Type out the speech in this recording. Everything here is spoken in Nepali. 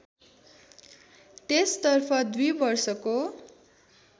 त्यसतर्फ २ वर्षको